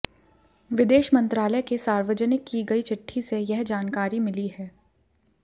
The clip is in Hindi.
विदेश मंत्रालय के सार्वजनिक की गई चिट्ठी से यह जानकारी मिली है